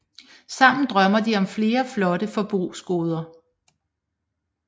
Sammen drømmer de om flere flotte forbrugsgoder